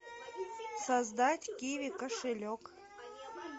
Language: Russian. создать киви кошелек